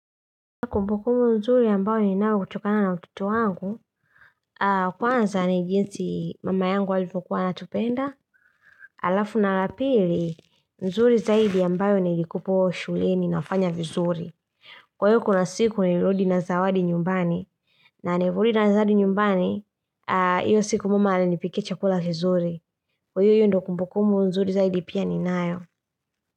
Na kumbukumbu nzuri ambayo ninao hutokana na utoto wangu Kwanza ni jinsi mama yangu alivyokuwa anatupenda Alafu na la pili nzuri zaidi ambayo nilikupewa shuleni nafanya vizuri Kwa hiyo kuna siku nilirudi na zawadi nyumbani na nilivyorudi na zawadi nyumbani Iyo siku mama alinipikia chakula vizuri Kwa hiyo hiyo ndo kumbukumbu nzuri zaidi pia ninayo.